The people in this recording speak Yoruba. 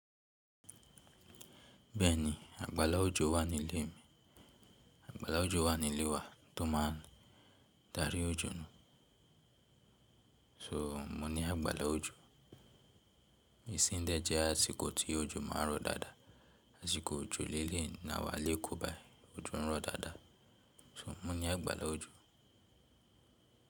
Bẹ́ẹ̀ni, àgbàlá òjò wà ní ilé mi. Àgbàlá òjò wà ní ilé wa tó máa ń darí òjò náà. So mo ní àgbàlá òjò. Isìn dẹ̀ jẹ́ àsìkò tí òjò máa ń rọ̀ dáadáa, àsìkò òjò lẹ́lẹ́yìí náà wá lékòó bá òjò ń rọ̀ dáadáa. So mo ní àgbàlá òjò.